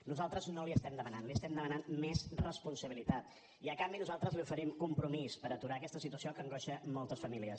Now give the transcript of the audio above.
nosaltres no les hi demanem li demanem més responsabilitat i a canvi nosaltres li oferim compromís per aturar aquesta situació que angoixa moltes famílies